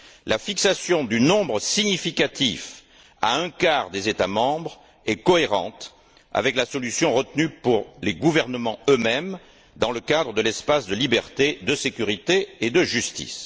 La fixation du nombre significatif à un quart des États membres est cohérente avec la solution retenue pour les gouvernements eux mêmes dans le cadre de l'espace de liberté, de sécurité et de justice.